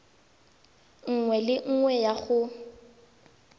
nngwe le nngwe ya go